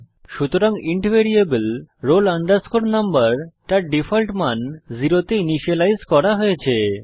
সুতরাং int variable roll number তার default মান শূন্যতে ইনিসিয়েলাইজ করা হয়েছে